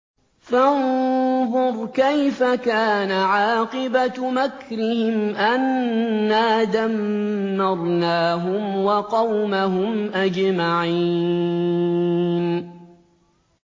فَانظُرْ كَيْفَ كَانَ عَاقِبَةُ مَكْرِهِمْ أَنَّا دَمَّرْنَاهُمْ وَقَوْمَهُمْ أَجْمَعِينَ